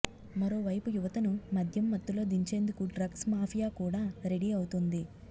మరో వైపు యువతను మద్యం మత్తులో దించేందుకు డ్రగ్స్ మాఫియాకూడా రెడీ అవుతోంది